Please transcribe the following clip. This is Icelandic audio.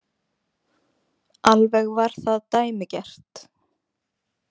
Alveg var það dæmigert.